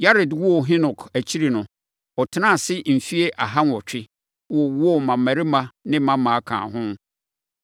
Yared woo Henok akyiri no, ɔtenaa ase mfeɛ aha nwɔtwe, wowoo mmammarima ne mmammaa kaa ho.